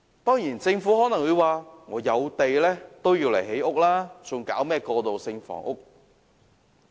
當然，政府可能會說有土地便應用來興建房屋，沒有需要提供過渡性房屋。